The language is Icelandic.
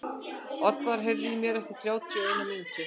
Oddvar, heyrðu í mér eftir þrjátíu og eina mínútur.